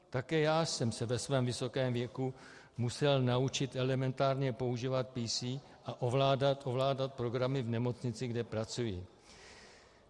Také já jsem se ve svém vysokém věku musel naučit elementárně používat PC a ovládat programy v nemocnici, kde pracuji.